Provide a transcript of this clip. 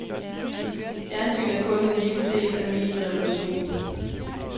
Fjernsyn er kun en lille del af medierevolutionen.